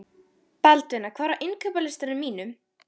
Baldvina, hvað er á innkaupalistanum mínum?